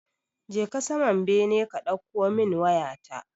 Je ka saman bene ka ɗauko min waya ta.